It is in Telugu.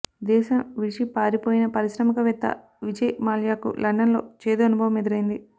దేశం విడిచిపారిపోయిన పారిశ్రామికవేత్త విజయ్ మాల్యాకు లండన్ లో చేదు అనుభవం ఎదురైంది